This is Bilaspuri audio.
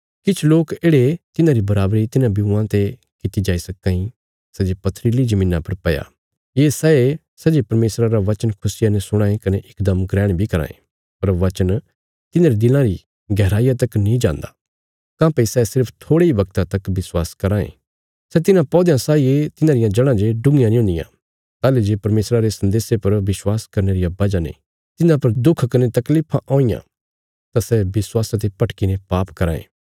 किछ लोक येढ़े तिन्हांरी बराबरी तिन्हां ब्यूआं ते कित्ती जाई सक्कां इ सै जे पत्थरीली जमीन्ना पर पैया ये सैए सै जे परमेशरा रा बचन खुशिया ने सुणां ये कने इकदम ग्रहण बी कराँ ये पर वचन तिन्हांरे दिलां री गहराईया तक नीं जान्दा काँह्भई सै सिर्फ थोड़े इ वगता तक विश्वास कराँ ये सै तिन्हां पौध्यां साई ये तिन्हांरियां जड़ां जे डुग्गियां नीं हुन्दियां ताहली जे परमेशरा रे सन्देशा पर विश्वास करने रिया वजह ने तिन्हां पर दुख कने तकलीफां औईयां तां सै विश्वासा ते भटकीने पाप कराँ ये